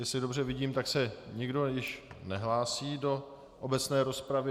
Jestli dobře vidím, tak se nikdo již nehlásí do obecné rozpravy.